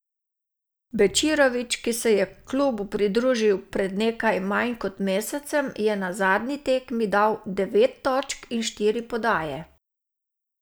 Bečirović, ki se je klubu pridružil pred nekaj manj kot mesecem, je na zadnji tekmi dal devet točk in štiri podaje.